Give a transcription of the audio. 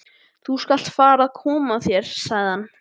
Þú skalt fara að koma þér, sagði hann.